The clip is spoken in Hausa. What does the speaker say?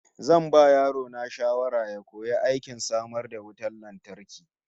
Zan ba yaro na shawara ya koyi aikin samar da wutar lantarki